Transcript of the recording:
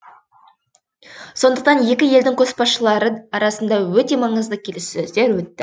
сондықтан екі елдің көшбасшылары арасында өте маңызды келіссөздер өтті